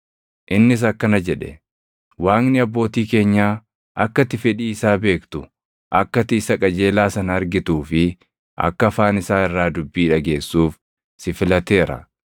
“Innis akkana jedhe; ‘Waaqni abbootii keenyaa akka ati fedhii isaa beektu, akka ati Isa Qajeelaa sana argituu fi akka afaan isaa irraa dubbii dhageessuuf si filateera.